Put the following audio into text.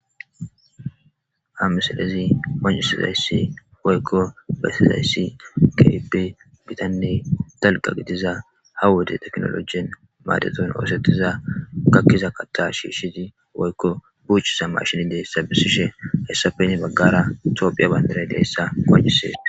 Ha misalezi mancisizayssi woykko bessizayssi kibe gitanne dalqa gitiza ha wode teknolojien madeton oosettiza gakkiza katta shiishshizi woykko buuchisa mashin deessa bisishe hayssafeni baggara toophiya bayndaray deessa kocisee